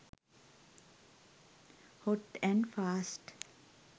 hot and fast